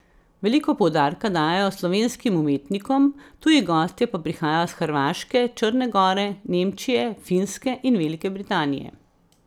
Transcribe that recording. Veliko poudarka dajejo slovenskim umetnikom, tuji gostje pa prihajajo s Hrvaške, Črne gore, Nemčije, Finske in Velike Britanije.